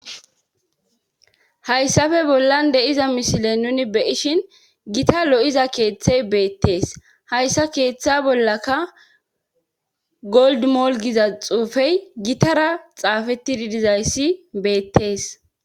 Hayssafe bollan deiza mishile nuni beyishin gita lo7iza keeththey beettees hayssa keeththa bollaka goldmolgiza xuufey gitara xaafettididizayssi beettees.